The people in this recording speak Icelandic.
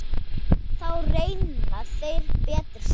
Þá renna þær betur saman.